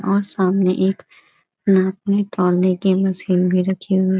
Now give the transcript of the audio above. और सामने एक की मशीन भी रखी हुई है।